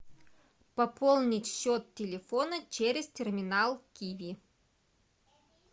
пополнить счет телефона через терминал киви